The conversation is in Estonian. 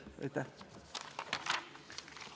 Aitäh!